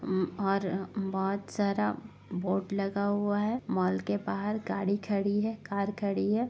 उम और बहुत सारा बोर्ड लगा हुआ है। मॉल के बाहर गाड़ी खड़ी है कार खड़ी है।